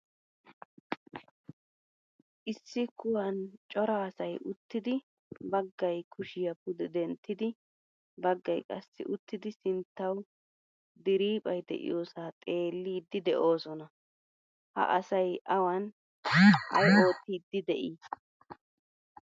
Issi kuwan cora asay uttidi baggaay kushiya pude denttidi baggaay qassi uttidi sinttawu diriphphay de'iyosa xeellidi deosona. Ha asay awan ay oottiidi de'i?